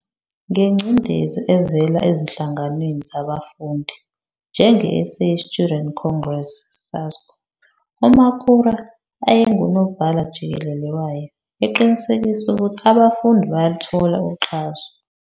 Ngengcindezi evela ezinhlanganweni zabafundi, njengeSA Student Congress, SASCO, uMakhura ayengunobhala-jikelele wayo, eqinisekisa ukuthi abafundi bayaluthola uxhaso.